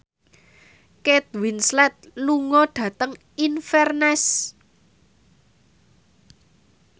Kate Winslet lunga dhateng Inverness